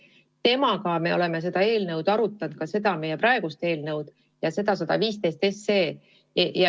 Temaga me oleme seda eelnõu arutanud, nii meie praegust eelnõu kui ka eelnõu 115.